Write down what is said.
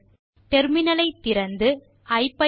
ஐபிதான் interpreter ஐ துவக்குவதை பார்க்கலாம்